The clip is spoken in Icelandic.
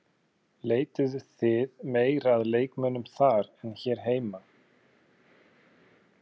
Leituðuð þið meira að leikmönnum þar en hér heima?